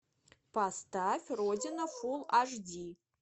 поставь родина фул аш ди